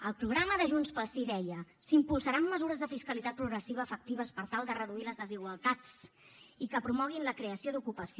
el programa de junts pel sí deia s’impulsaran mesures de fiscalitat progressiva efectives per tal de reduir les desigualtats i que promoguin la creació d’ocupació